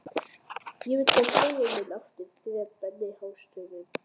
Ég vil fá skóinn minn aftur grét Benni hástöfum.